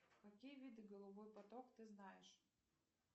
какие виды голубой поток ты знаешь